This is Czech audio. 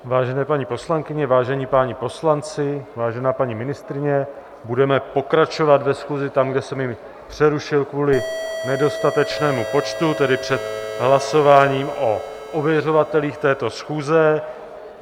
Vážené paní poslankyně, vážení páni poslanci, vážená paní ministryně, budeme pokračovat ve schůzi tam, kde jsem ji přerušil kvůli nedostatečnému počtu, tedy před hlasováním o ověřovatelích této schůze.